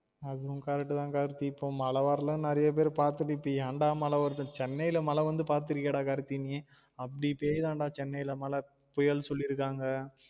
அதுவும் correct தான் கார்த்தி இப்ப மழ வரலனு நிறைய பேர் பாத்திட்டு இப்ப என் டா மழ வருது சென்னை ல மழ வந்து பாத்துருக்கியா டா கார்த்தி நீ அப்டி பேயுதாம் டா சென்னை ல மழ புயல் சொல்லிருக்காங்க